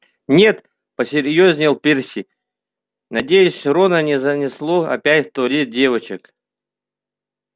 нет посерьёзнел перси надеюсь рона не занесло опять в туалет девочек